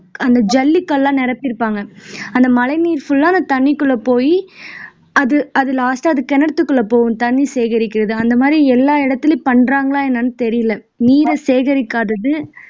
அந்த ஜல்லிக்கல்லா நிரப்பிருப்பாங்க அந்த மழை நீர் full ஆ அந்த தண்ணிக்குள்ள போய் அது அது last ஆ அது கிணத்துக்குள்ள போகும் தண்ணி சேகரிக்கிறது அந்த மாதிரி எல்லா இடத்துலயும் பண்றாங்களா என்னன்னு தெரியல நீரை சேகரிக்காதது